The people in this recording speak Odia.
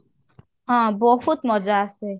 ହଁ ବହୁତ ମଜା ଆସେ